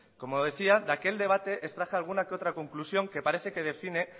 como decía de aquel debate extraje alguna que otra conclusión que parece que define